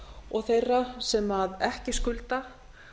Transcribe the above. og þeirra sem ekki skulda